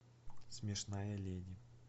смешная леди